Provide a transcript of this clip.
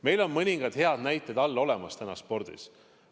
Meil on mõningad head näited olemas spordis.